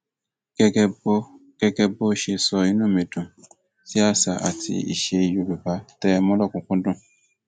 gẹgẹ bó gẹgẹ bó ṣe sọ inú mi dùn sí àṣà àti ìṣe yorùbá tẹ ẹ mú lòkunùnkú dùn